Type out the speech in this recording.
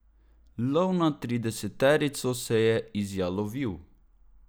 Lov na trideseterico se je izjalovil.